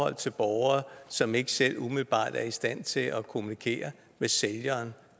borgere som ikke selv umiddelbart er i stand til at kommunikere med sælgeren